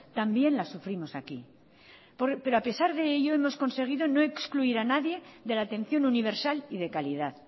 también las sufrimos aquí pero a pesar de ello hemos conseguido no excluir a nadie de la atención universal y de calidad